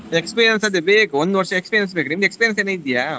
Experience ಅದೇ ಬೇಕು ಒಂದು ವರ್ಷ experience ಬೇಕು ನಿಮ್ಗೆ experience ಏನ್ ಇದ್ಯಾ?